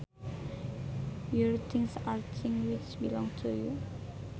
Your things are things which belong to you